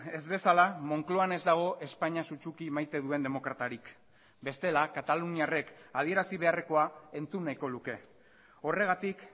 ez bezala moncloan ez dago espainia sutsuki maite duen demokratarik bestela kataluniarrek adierazi beharrekoa entzun nahiko luke horregatik